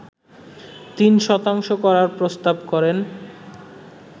৩ শতাংশ করার প্রস্তাব করেন